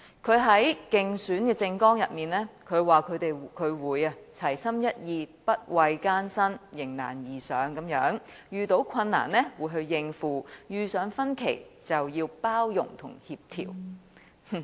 他在競選政綱中表示會齊心一意，不畏艱辛，迎難而上，遇到困難時就要應付，遇上分歧就要包容協調。